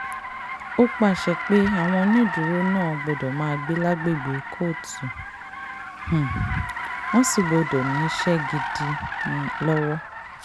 ó pàṣẹ pé àwọn onídùúró náà gbọ́dọ̀ máa gbé lágbègbè kóòtù um wọ́n sì gbọ́dọ̀ níṣẹ́ gidi um lọ́wọ́